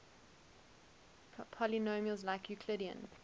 polynomials like euclidean